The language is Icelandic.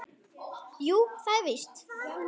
Jú, það er víst.